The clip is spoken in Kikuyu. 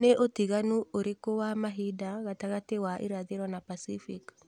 ni ūtiganu ūrīkū wa mahinda gatagati wa irathīro na pasifik